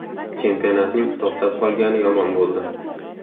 Chempionatning to‘xtab qolgani yomon bo‘ldi.